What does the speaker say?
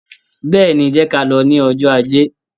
Bẹ́ẹ̀ni, jẹ́ ka lọ ní ọjó Ajé.